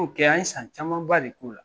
N'o kɛ an ye san camanba de k'o la.